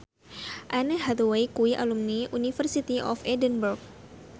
Anne Hathaway kuwi alumni University of Edinburgh